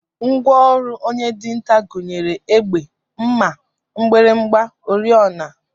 Ngwa ọrụ onye dinta gụnyere egbe, mma, mgbịrịgba, oriọna